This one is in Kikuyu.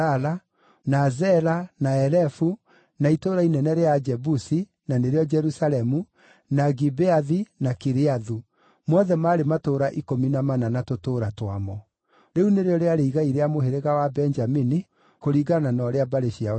na Zela, na Elefu, na Itũũra inene rĩa Ajebusi (na nĩrĩo, Jerusalemu), na Gibeathi, na Kiriathu; mothe maarĩ matũũra ikũmi na mana na tũtũũra twamo. Rĩu nĩrĩo rĩarĩ igai rĩa mũhĩrĩga wa Benjamini kũringana na ũrĩa mbarĩ ciao ciatariĩ.